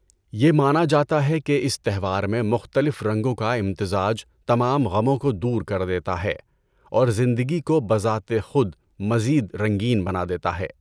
یہ مانا جاتا ہے کہ اس تہوار میں مختلف رنگوں کا امتزاج تمام غموں کو دور کر دیتا ہے اور زندگی کو بذات خود مزید رنگین بنا دیتا ہے۔